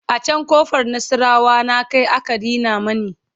a can ƙofar nasarawa na Kai aka Rina mani